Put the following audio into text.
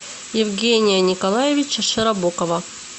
евгения николаевича широбокова